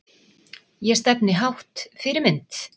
Ég stefni hátt Fyrirmynd?